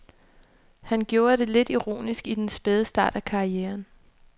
Han gjorde det lidt ironisk i den spæde start af karrieren.